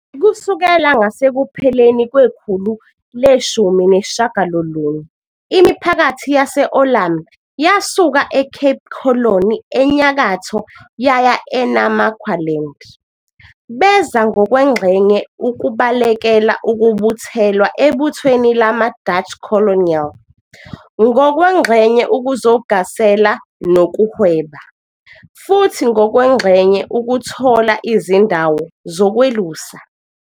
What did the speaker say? Kusukela ngasekupheleni kwekhulu le-18, imiphakathi yase-Oorlam yasuka eCape Colony enyakatho yaya eNamaqualand. Beza ngokwengxenye ukubalekela ukubuthelwa ebuthweni lama-Dutch colonial, ngokwengxenye ukuzogasela nokuhweba, futhi ngokwengxenye ukuthola izindawo zokwelusa.